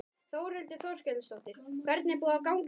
Þórhildur Þorkelsdóttir: Hvernig er búið að ganga í dag?